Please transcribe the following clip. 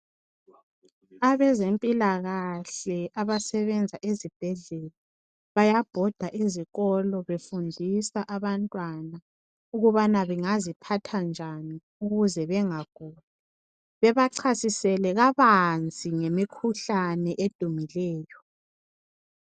Abezempilakahle abasebenza ezibhedlela, bayabhoda ezikolo befundisa abantwana ukubana bangaziphatha njani ukuze bengaguli, bebachasisele kabanzi ngemikhuhlane edumileyo.